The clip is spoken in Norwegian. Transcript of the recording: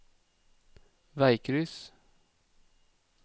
veikryss